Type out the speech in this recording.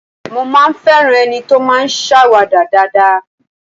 Mo máa ń ń fẹ́ràn ẹni tó máa ń ṣàwàdà dáadáa